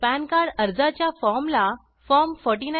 pan card आर्जाच्या form ला form 49आ